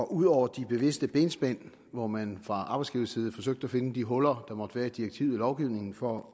ud over de bevidste benspænd hvor man fra arbejdsgivers side forsøgte at finde de huller der måtte være i direktivet og lovgivningen for